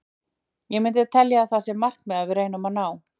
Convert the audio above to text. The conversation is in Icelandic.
Ég myndi telja að það sé markmið sem við reynum að ná.